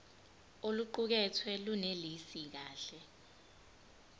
oluqukethwe lunelisi kahle